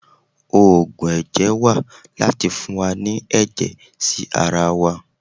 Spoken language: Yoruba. Ògùn ẹ̀jẹ̀ wà láti fún wa ní ẹ̀jẹ̀ sí ara wa.